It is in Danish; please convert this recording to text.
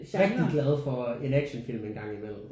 Rigtig glad for en actionfilm en gang imellem